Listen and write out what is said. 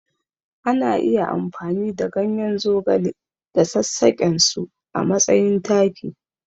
Ana iya amfani da ganyen zogale da sassaƙensu a matsayin taki.